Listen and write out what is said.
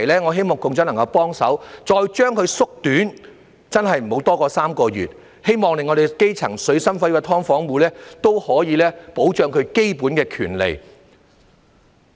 我希望局長能夠幫忙，把這個真空期再縮短，真的不要多過3個月，希望可以保障基層、水深火熱的"劏房戶"的基本權利。